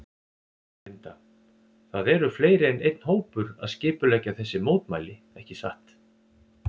Linda: Það eru fleiri en einn hópur að skipuleggja þessi mótmæli ekki satt?